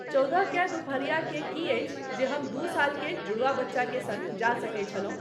चौदह केँ दुपहर के की अछि जे हम दू साल के जुड़वा बच्चा के संग जा सकैत छलहुं।